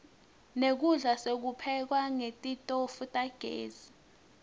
nekudla sikupheka netitofu tagezi